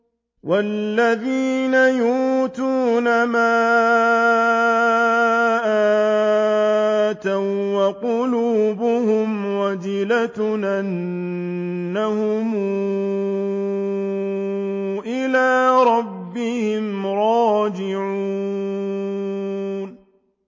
وَالَّذِينَ يُؤْتُونَ مَا آتَوا وَّقُلُوبُهُمْ وَجِلَةٌ أَنَّهُمْ إِلَىٰ رَبِّهِمْ رَاجِعُونَ